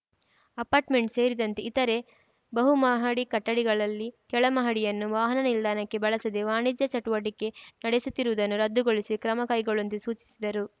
apartment ಸೇರಿದಂತೆ ಇತರೆ ಬಹುಮಹಡಿ ಕಟ್ಟಡಗಳಲ್ಲಿ ಕೆಳಮಹಡಿಯನ್ನು ವಾಹನ ನಿಲ್ದಾಣಕ್ಕೆ ಬಳಸದೆ ವಾಣಿಜ್ಯ ಚಟುವಟಿಕೆ ನಡೆಸುತ್ತಿರುವುದನ್ನು ರದ್ದುಗೊಳಿಸಿ ಕ್ರಮ ಕೈಗೊಳ್ಳುವಂತೆ ಸೂಚಿಸಿದರು